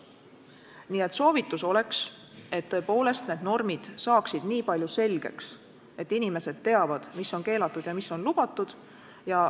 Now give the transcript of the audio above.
Nii et soovitus on, et tõepoolest need normid saaksid nii palju selgeks, et inimesed teavad, mis on keelatud ja mis on lubatud.